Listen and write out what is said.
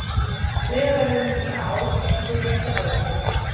Friðarverðlaunin í ár ein þau mikilvægustu